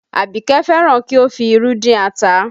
Abike fẹ́ràn kí o fi irú dín ata